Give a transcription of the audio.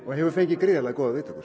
hefur fengið góðar viðtökur